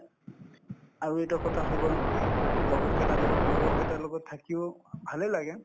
আৰু এটা কথা হৈ গল লগৰ কেইটা লগৰ কেইটাৰ লগত থাকিও ভালে লাগে